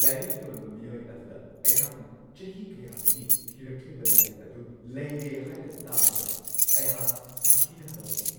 ꯂꯥꯏꯔꯤꯛ ꯌꯣꯟꯕ ꯃꯤꯑꯣꯏ ꯑꯗꯨꯗ ꯑꯩꯍꯥꯛꯅ ꯆꯍꯤ ꯀꯌꯥꯗꯒꯤ ꯊꯤꯔꯛꯂꯤꯕ ꯂꯥꯏꯔꯤꯛ ꯑꯗꯨ ꯂꯩꯔꯦ ꯍꯥꯏꯅ ꯇꯥꯕꯗ ꯑꯩꯍꯥꯛ ꯁꯥꯊꯤꯅ ꯍꯔꯥꯎꯈꯤ ꯫